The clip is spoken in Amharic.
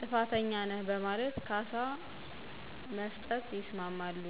ጥፋተኛ ነህ በማለት ካሳ መስጠት ያስማማሉ።